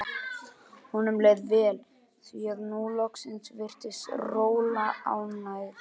Honum leið vel, því að nú loksins virtist Rola ánægð.